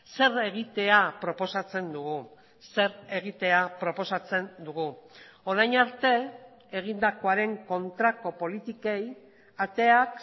zer egitea proposatzen dugu zer egitea proposatzen dugu orain arte egindakoaren kontrako politikei ateak